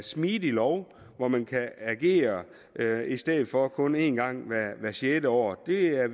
smidig lov hvor man kan agere i stedet for kun en gang hvert sjette år vi er